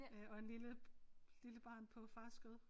Øh og en lille lille barn på fars skød